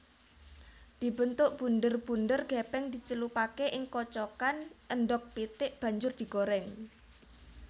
Dibentuk bunder bunder gepeng dicelupake ing kocokan endhog pitik banjur digoreng